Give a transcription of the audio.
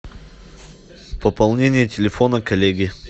пополнение телефона коллеги